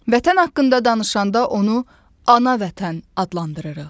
Vətən haqqında danışanda onu ana Vətən adlandırırıq.